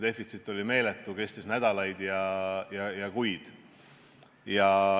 See kestis nädalaid ja kuid.